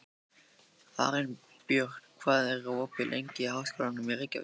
Arinbjörn, hvað er opið lengi í Háskólanum í Reykjavík?